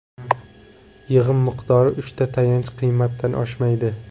Yig‘im miqdori uchta tayanch qiymatdan oshmaydi.